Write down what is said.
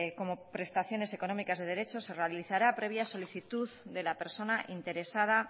como prestaciones económicas de derecho se realizará previa solicitud de la persona interesada